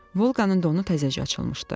Volqanın donu təzəcə açılmışdı.